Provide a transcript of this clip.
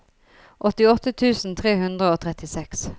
åttiåtte tusen tre hundre og trettiseks